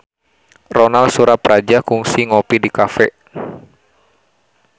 Ronal Surapradja kungsi ngopi di cafe